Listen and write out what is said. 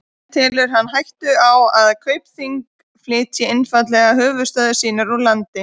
En telur hann hættu á að Kaupþing flytji einfaldlega höfuðstöðvar sínar úr landi?